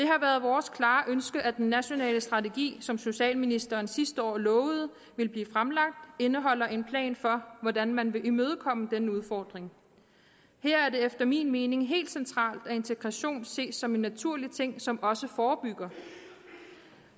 har været vores klare ønske at den nationale strategi som socialministeren sidste år lovede ville blive fremlagt indeholder en plan for hvordan man vil imødekomme denne udfordring her er det efter min mening helt centralt at integration ses som en naturlig ting som også forebygger